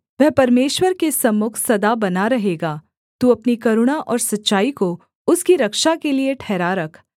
वह परमेश्वर के सम्मुख सदा बना रहेगा तू अपनी करुणा और सच्चाई को उसकी रक्षा के लिये ठहरा रख